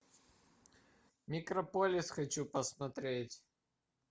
микрополис хочу посмотреть